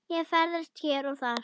og ferðast hér og þar.